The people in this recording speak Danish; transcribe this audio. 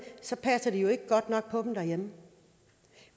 så passer de jo ikke godt nok på dem derhjemme